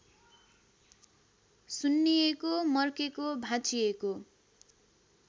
सुन्निएको मर्केको भाँचिएको